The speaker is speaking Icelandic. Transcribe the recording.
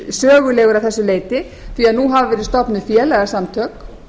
sögulegur að þessu leyti því nú hafa verið stofnuð félagasamtök